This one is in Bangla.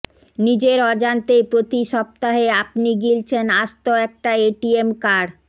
নিজের অজান্তেই প্রতি সপ্তাহে আপনি গিলছেন আস্ত একটা এটিএম কার্ড